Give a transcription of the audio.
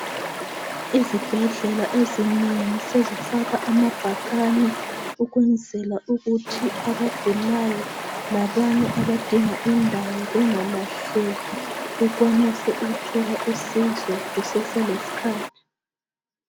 Izibhedlela ezinengi sezifaka amabhakani ukwenzela ukuthi abagulayo lalabo abadinga indawo bengalahleki bathole usizo kusese lesikhathi.